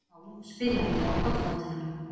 Já, spyrjandi á kollgátuna.